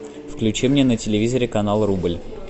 включи мне на телевизоре канал рубль